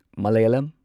Malayalam